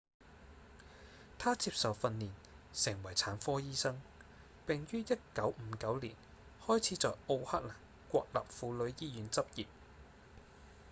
他接受訓練成為產科醫生並於1959年開始在奧克蘭國立婦女醫院執業